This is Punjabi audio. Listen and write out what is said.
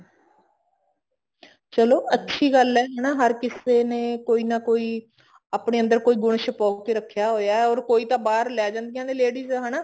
ਚਲੋ ਅੱਛੀ ਗੱਲ ਹੈ ਹਰ ਕਿਸੇ ਨੇ ਕੋਈ ਨਾ ਕੋਈ ਆਪਣੇ ਅੰਦਰ ਕੋਈ ਗੁਣ ਸ਼ੁਪਾ ਕੇ ਰੱਖਿਆ ਹੋਇਆ or ਕੋਈ ਤਾਂ ਭਰ ਲੈ ਜਾਣਗੀਆਂ ladies ਹਨਾ